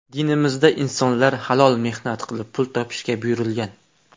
Dinimizda insonlar halol mehnat qilib pul topishga buyurilgan.